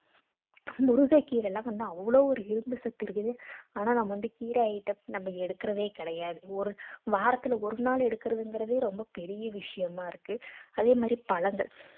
முருங்கைக்கீரைல வந்து அவ்ளோ ஒரு இரும்பு சத்து இருக்குது ஆனா நம்ம வந்து கீரை item நம்ம எடுக்குறதே கிடையாது ஒரு வாரத்துல ஒரு நாள் எடுக்குறதுங்குறதே ரொம்ப பெரிய விஷயமா இருக்கு அதே மாதிரி பழங்கள்